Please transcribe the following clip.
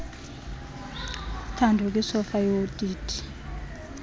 thande kwisofa yodidi